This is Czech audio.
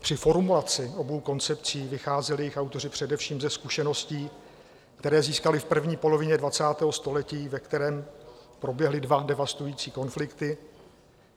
Při formulaci obou koncepcí vycházeli jejich autoři především ze zkušeností, které získali v první polovině 20. století, ve kterém proběhly dva devastující konflikty.